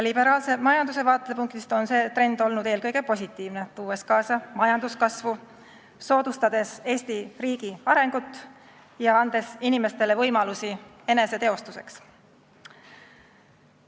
Liberaalse majanduse vaatepunktist on see trend olnud eelkõige positiivne, tuues kaasa majanduskasvu, soodustades Eesti riigi arengut ja andes inimestele võimalusi eneseteostuseks.